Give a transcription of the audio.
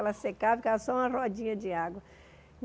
Ela secava, ficava só uma rodinha de água.